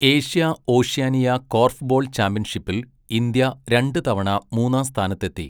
Asia Oceania korfball ചാമ്പ്യൻഷിപ്പിൽ India രണ്ടുതവണ മൂന്നാം സ്ഥാനത്തെത്തി.